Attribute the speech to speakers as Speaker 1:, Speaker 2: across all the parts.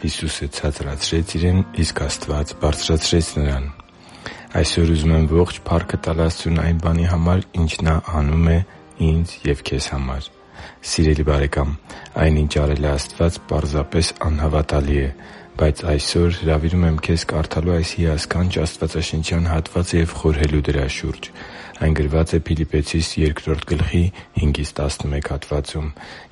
Speaker 1: Հիսուսը ցածրացրեց Իրեն, իսկ Աստված բարձրացրեց Նրան Այսօր ուզում եմ ողջ փառքը տալ Աստծուն այն բանի համար, ինչ Նա անում է քեզ համար և ինձ համար: Սիրելի՛ բարեկամ, այն, ինչ արել է Աստված, պարզապես անհավատալի է: Բայց այսօր ես հրավիրում եմ քեզ կարդալու այս հիասքանչ աստվածաշնչյան հատվածը և խորհելու դրա շուրջ։ Այն գրված է Փիլիպպեցիս 2.5-11 հատվածում,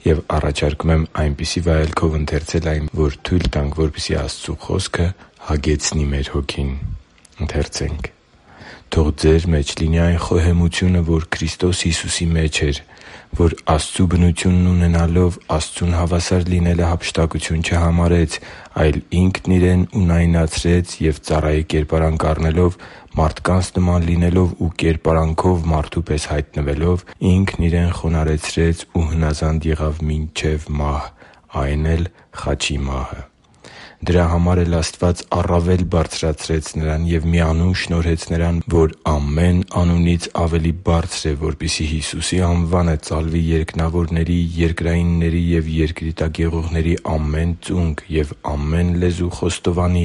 Speaker 1: և առաջարկում եմ այնպիսի վայելքով ընթեցել այն, որ թույլ տանք Աստծո Խոսքին, որ այն հագեցնի մեր հոգին: «Թող ձեր մեջ լինի այն խոհեմությունը, որ Քրիստոս Հիսուսի մեջ էր, որ Աստծու բնությունն ունենալով՝ Աստծուն հավասար լինելը հափշտակություն չհամարեց, այլ Ինքն Իրեն ունայնացրեց և ծառայի կերպարանք առնելով, մարդկանց նման լինելով ու կերպարանքով մարդու պես հայտնվելով՝ Ինքն Իրեն խոնարհեցրեց ու հնազանդ եղավ մինչև մահ, այն էլ՝ խաչի մահ։ Դրա համար էլ Աստված առավել բարձրացրեց Նրան և մի անուն շնորհեց Նրան, որ ամեն անունից ավելի բարձր է, որպեսզի Հիսուսի անվանը ծալվի երկնավորների, երկրայինների և երկրի տակ եղողների ամեն ծունկ, և ամեն լեզու խոստովանի,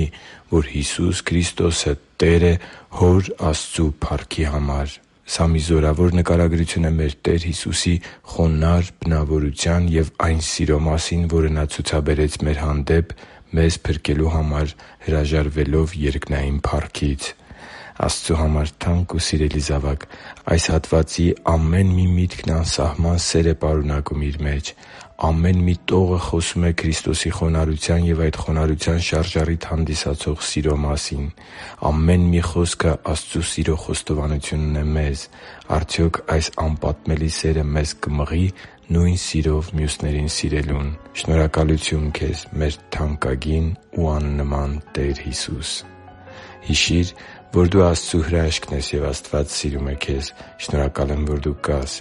Speaker 1: որ Հիսուս Քրիստոսը Տեր է Հոր Աստծու փառքի համար»։ Սա մի զորավոր նկարագրություն է մեր Տեր Հիսուսի խոնարհ բնավորության և այն սիրո մասին, որը Նա ցուցաբերեց մեր հանդեպ՝ մեզ փրկելու համար հրաժարվելով երկնային փառքից։ Աստծու համար թանկ ու սիրելի՛ *զավակ, այս հատվածի ամեն մի միտքը անսահման սեր է իր մեջ պարունակում։ Ամեն մի տողը խոսում է Քրիստոսի խոնարհության և այդ խոնարհության շարժառիթ հանդիսացող սիրո մասին։ Ամեն մի խոսքը Աստծո սիրո խոստովանությունն է մեզ։ Արդյոք այս անպատմելի սերը մեզ կմղի՞ նույն սիրով մյուսներին սիրելուն։ Շնորհակալությո՛ւն, մեր թանկագին ու աննման Տեր Հիսո՛ւս: Հիշի՛ր, որ դու Աստծո հրաշքն ես, և Աստված սիրում է քեզ։ Շնորհակալ եմ, որ դու կա՛ս